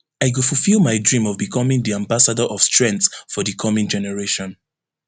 i go fufill my dream of becoming di ambassador of strength for di coming generation